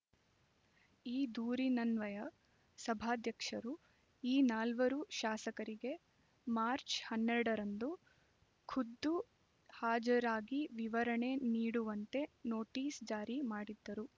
ಈ ದೂರಿನನ್ವಯ ಸಭಾಧ್ಯಕ್ಷರು ಈ ನಾಲ್ವರು ಶಾಸಕರಿಗೆ ಮಾರ್ಚ್ ಹನ್ನೆರಡ ರಂದು ಖುದ್ಧು ಹಾಜರಾಗಿ ವಿವರಣೆ ನೀಡುವಂತೆ ನೋಟಿಸ್ ಜಾರಿ ಮಾಡಿದ್ದರು